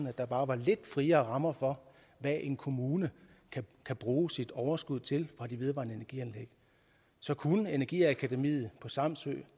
at der bare var lidt friere rammer for hvad en kommune kan bruge sit overskud til fra de vedvarende energianlæg så kunne energiakademiet på samsø